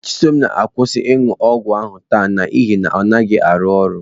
Chisom na-akwụsị ọgwụ ahụ taa n'ihi na ọ naghị arụ ọrụ.